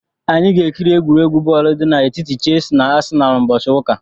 Anyị ga-ekiri egwuregwu bọọlụ dị n'etiti Chelsi na Asịnalụ ụbọchị ụka a.